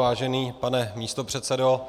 Vážený pane místopředsedo,